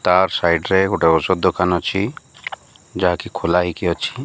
ତାର୍ ସାଇଡ ରେ ଓଷଦ୍ ଦୋକାନ ଅଛି ଯାହାକି ଖୋଲା ହେକି ଅଛି।